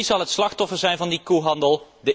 Wie zal het slachtoffer zijn van die koehandel?